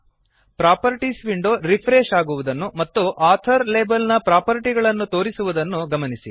properties window refresh ಆಗುವುದನ್ನು ಮತ್ತು author label ನ ಪ್ರಾಪರ್ಟಿಗಳನ್ನು ತೋರಿಸುವುದನ್ನು ಗಮನಿಸಿ